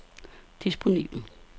disponibel